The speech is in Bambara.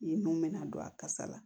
I ye mun mɛnɛ a kasa la